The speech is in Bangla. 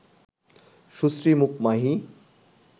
সুশ্রী মুখ মাহি